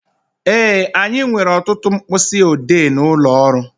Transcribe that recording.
Ee, anyị nwere ọtụtụ mkpịsị odee n'ụlọ ọrụ